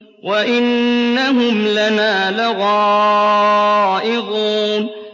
وَإِنَّهُمْ لَنَا لَغَائِظُونَ